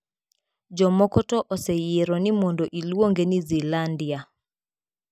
Jomoko to oseyiero ni mondo iluonge ni Zealandia.